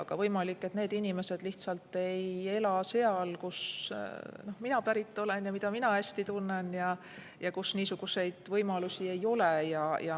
Aga võimalik, et need inimesed lihtsalt ei ela seal, kust mina pärit olen ja mida ma hästi tunnen ja kus niisuguseid võimalusi ei ole.